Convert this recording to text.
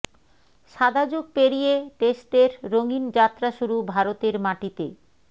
সাদা যুগ পেরিয়ে টেস্টের রঙিন যাত্রা শুরু ভারতের মাটিতে